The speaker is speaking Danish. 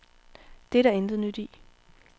Det er der intet nyt i.